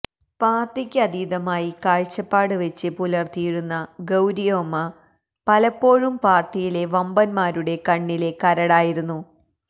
പാര്ട്ടിക്ക് അതീതമായ കാഴ്ചപാട് വെച്ച് പുലര്ത്തിയിരുന്ന ഗൌരിയമ്മ പലപ്പോഴും പാര്ട്ടിയിലെ വമ്പന്മാരുടെ കണ്ണിലെ കരടായിരുന്നു